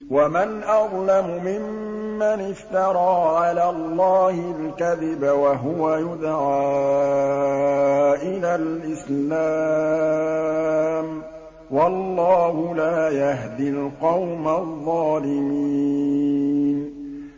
وَمَنْ أَظْلَمُ مِمَّنِ افْتَرَىٰ عَلَى اللَّهِ الْكَذِبَ وَهُوَ يُدْعَىٰ إِلَى الْإِسْلَامِ ۚ وَاللَّهُ لَا يَهْدِي الْقَوْمَ الظَّالِمِينَ